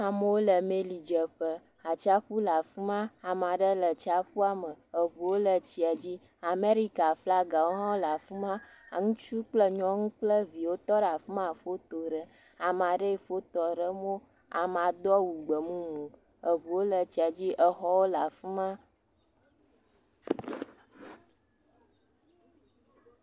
Amewo le melidzeƒe. Atsiaƒu le afi ma. Ame aɖe le atsiaƒua me. Eŋuwo le tsia dzi. Amerikaflagawo hã le afi ma. Ŋutsu kple nyɔnu kple viwo tɔ ɖe afi ma le foto ɖem. Ame aɖee fotoa ɖem wo. Amea do awu gbemumu. Eŋuwo le tsia dzi. Exɔwo le afi ma